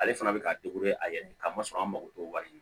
Ale fana bɛ k'a a yɛrɛ ni ka masa an mako t'o wari ɲini